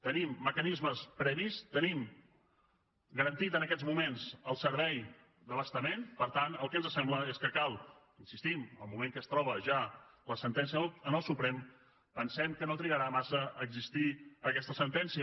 tenim mecanismes previs tenim garantit en aquests moments el servei d’abastament per tant el que ens sembla és que cal hi insistim el moment que es troba ja la sentència en el suprem pensem que no trigarà massa a existir aquesta sentència